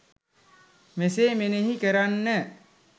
මෙසේ මෙනෙහි කරන්න.